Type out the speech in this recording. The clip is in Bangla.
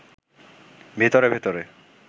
ভেতরে ভেতরে